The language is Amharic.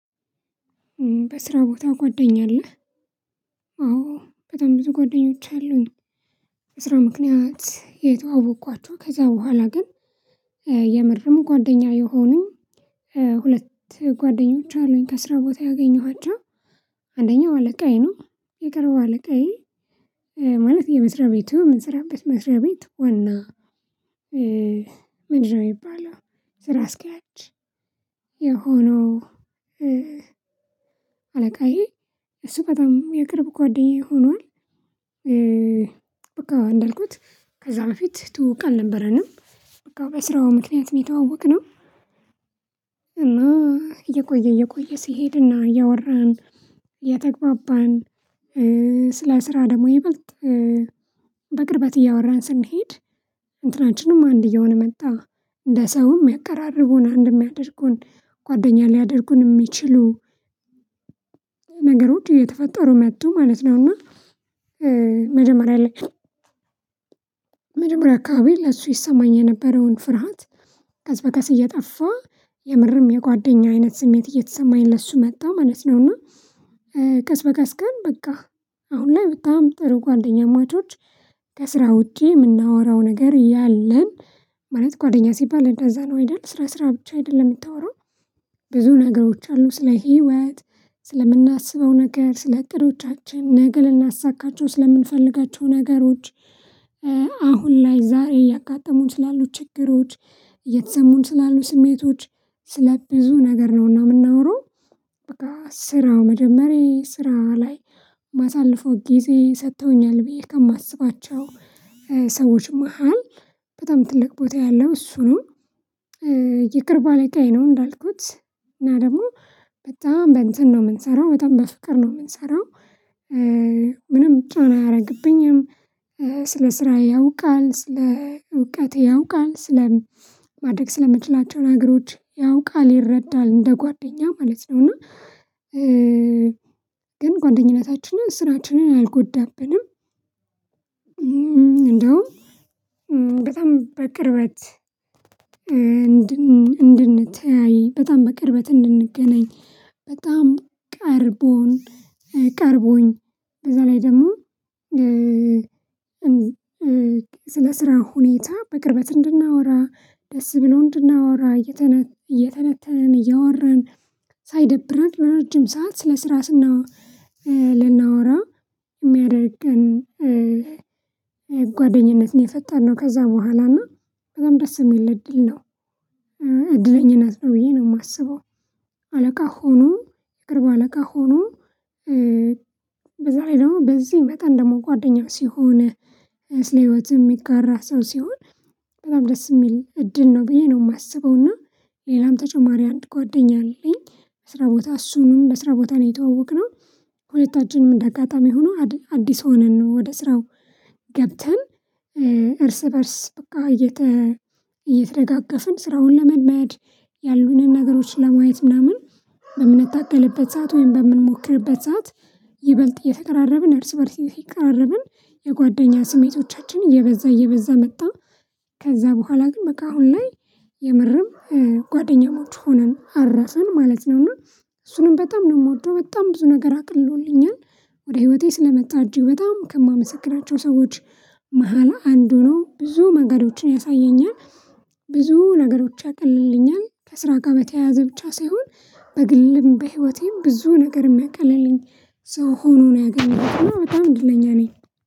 በስራ ቦታ ጓደኛ አለህ አዎ በጣም ብዙ ጓደኞች አሉኝ። በስራ ምክንያት የተዋወኳቸው ከዛ በኋላ ግን የምርም ጓደኛ የሆኑኝ። ሁለት ጓደኞች አሉኝ ከስራ ቦታ ያገኘኋቸው። አንደኛው አለቃዬ ነው የቅርብ አለቃዬ ማለት የመስሪያ ቤቱ የምንሰራበት መስሪያ ቤት ዋና የሚባለው ስራ አስኪያጅ የሆነው አለቃዬ እሱ በጣም የቅርብ ጓደኛዬ ሆኗል። በቃ እንደልኩት ከዛ በፊት ትውውቅ አልነበረንም በቃ በስራው ምክንያት የተዋወቅነው። እና እየቆየ እየቆየ ሲሄድና እያወራን እየተግባባን ሰለ ስራ ደግሞ ይበልጥ በቅርበት እያወራን ስንሄድ እንትናችንም አንድ እየሆነ መጣ እንደ ሰውም የሚያቀራረቡን አንድ የሚያደርጉን ጓደኛ ሊያደርጉን የሚችሉ። ነገሮች እየተፈጠሩ መጡ ማለት ነው። እና መጀመሪያ አካባቢ ለሱ ይሰማኝ የነበረውን ፍርሃት ቀስ በቀስ እየጠፋ የምርም የጓደኛ አይነት ስሜት እየተሰማኝ ለሱ መጣሁ ማለት ነው። እና ቀስ በቀስ ግን በቃ አሁን ላይ በጣም ጥሩ ጓደኛማቿች ከስራ ውጪ የምናወራው ነገር ያለን። ማለት ጓደኛ ሲባል እንደዛ ነው አይደል ስራ ስራ ብቻ አይደለም የምታወራው። ብዙ ነገሮች አሉ ስለ ህይወት ስለምናስበው ነገር ስለ እቅዶቻችን ነገ ልናሳካቸው ስለምንፈልጋቸው ነገሮች ላይ ዛሬ ያጋጠሙን ስላሉ ችግሮች የተሰሙን ስላሉ ስሜቶች ስለ ብዙ ነገር ነውና የምናወራው። በቃ ስራው መጀመሪያ ስራ ላይ ማሳለፈው ጊዜ ሰጥተውኛል ብዬ ከማስባቸው ሰዎች መሃል በጣም ትልቅ ቦታ ያለው እሱ ነው። የቅርብ አለቃዬ ነው እንዳልኩት እና ደግሞ በጣም በፍቅር ነው የምንሰራው። ምንም ጫና አያደርግብኝም ስለ ስራ ያውቃል ስለ እውቀት ያውቃል ስለ ማድረግ ስለምትችላቸው ነገሮች ያውቃል ይረዳል እንደ ጓደኛ ማለት ነው። እና ግን ጓደኝነታችንን ስራችንን አልጎዳብንም። እንደውም በጣም በቅርበት እንድንተያይ በጣም በቅርበት እንድንገናኝ በጣም ቀርቦኝ በዛ ላይ ደግሞ ስለ ስራ ሁኔታ በቅርበት እንድናወራ ደስ ብሎ እንድናወራ እየተነተንን እያወራን ሳይደብረን ረጅም ሰዓት ስለ ስራ ልናወራ የሚያደርገን ጓደኝነትን የፈጠነው ከዛ በኋላ እና በጣም ደስ የሚል እድል ነው። እድለኝነት ነው ብየ ነው የማስበው። አለቃ ሆኖ የቅርብ አለቃ ሆኖ በዛ ላይ ደግሞ በዚህ መጠን ደግሞ ጓደኛ ሲሆንህ ስለ ህይወት ሚጋራ ሰው ሲሆን በጣም ደስ የሚል እድል ነው ብዬ ነው የማስበው። እና ሌላም ተጨማሪ አንድ ጓደኛ አለኝ። ስራ ቦታ እሱንም ለስራ ቦታ ነው የተዋወቅነው። ሁለታችንም እንደ አጋጣሚ ሆኖ አዲስ ሆነን ነው ወደ ስራ ገብተን እርስ በእርስ በቃ እየተደጋገፍን ስራውን ለመልመድ ያሉንን ነገሮችን ለማየት ምናምን በምንታገልበት ሰዓት ወይም በምንሞክርበት ሰዓት ይበልጥ እየተቀራረብን እርስ በእርስ ይተቀራረብን የጓደኛ ስሜቶቻችን እየበዛ እየበዛ መጣ። ከዛ በኋላ ግን በቃ አሁን ላይ የምርም ጓደኛሞች ሆነን አረፈን ማለት ነውና። እሱንም በጣም ነው የምወደው በጣም ብዙ ነገር አቅሎልኛል ወደ ህይወቴ ስለመጣ እጅግ በጣም ከማመሰግናቸው ሰዎች መሃል አንዱ ነው ብዙ መንገዶቺን ያሳየኛል። ብዙ ነገሮች ያቀልልኛል ከስራ ጋር በተያያዘ ብቻ ሳይሆን በግልም በህይወቴም ብዙ ነገር የሚያቀለልኝ ሰው ሆኖ ነው ያገኘሁት እና በጣም እድለኛ ነኝ።